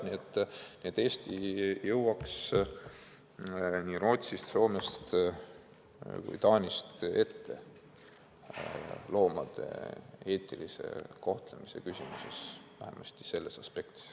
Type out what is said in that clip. Ja Eesti jõuaks nii Rootsist, Soomest kui ka Taanist loomade eetilise kohtlemise küsimuses ette, vähemasti sellest aspektist.